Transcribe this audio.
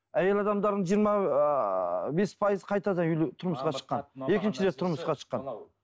әйел адамдардың жиырма ыыы бес пайызы қайтадан тұрмысқа шыққан екінші рет тұрысқа шыққан